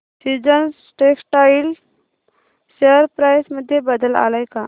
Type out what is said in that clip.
seasons Textile share price मध्ये बदल आलाय का